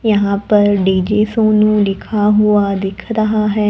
यहां पर डी_जे सोनू लिखा हुआ दिख रहा है।